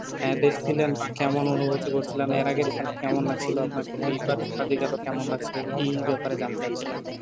এ দেখছিলেন বা কেমন অনুভুতি করছিলেন এর আগে খেলা কেমন লাগছিলো আপনার কাছে লাগছে আপনার কাছে এই বার কেমন লাগছে এই ব্যাপারে জানতে চাচ্ছিলাম